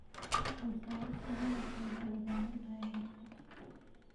Soo saarista malabka waxay u baahan tahay xirfad.